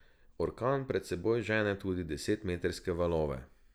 Orkan pred seboj žene tudi desetmetrske valove.